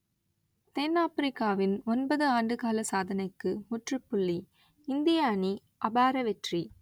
தென் ஆப்பிரிக்காவின் ஒன்பது ஆண்டுகால சாதனைக்கு முற்றுப்புள்ளி இந்திய அணி அபார வெற்றி